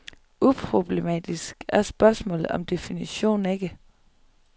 Uproblematisk er spørgsmålet om definition ikke.